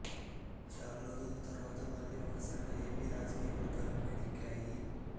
చాలా రోజుల తర్వాత మళ్ళీ ఒక్కసారిగా ఏపీ రాజకీయ వర్గాలు వేడెక్కాయి